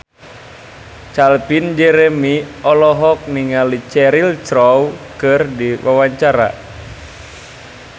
Calvin Jeremy olohok ningali Cheryl Crow keur diwawancara